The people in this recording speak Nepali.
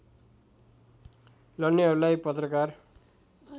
लड्नेहरूलाई पत्रकार